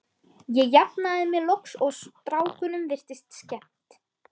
Ég jafnaði mig loks og strákunum virtist skemmt.